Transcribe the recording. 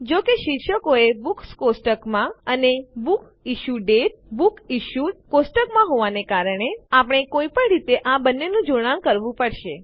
જો કે શીર્ષકો એ બુક્સ કોષ્ટકમાં અને બુક ઇશ્યુ દાતે બુકસિશ્યુડ કોષ્ટકમાં હોવાને કારણે આપણે કોઈ પણ રીતે આ બંનેનું જોડાણ કરવું પડશે